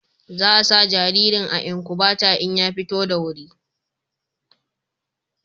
Za a sa jaririn a inkubata in ya fito da wuri